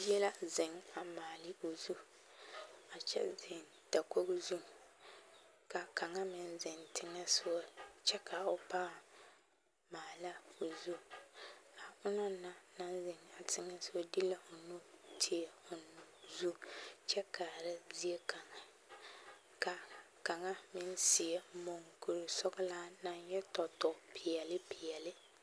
Bie la a ziŋ ka kang meŋ ziŋ dakɔge zu kyɛ ka o paŋ maale a o zu a onaŋ naŋ ziŋ a teŋe ti la o nu a onaŋ naŋ maale o zu kyɛ ka ba sie mukureŋ sɔŋlaa na yɛ tɔ pɛɛle pɛɛle.